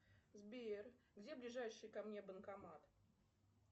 сбер где ближайший ко мне банкомат